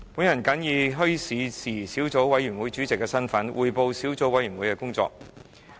我謹以墟市事宜小組委員會主席的身份匯報小組委員會的工作。